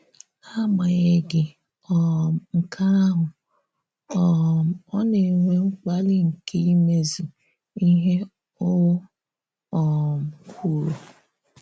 N’agbà̀ghaghị um nke ahụ, um ọ na-enwè mkpàli nke imezu ihe o um kwùrọ̀.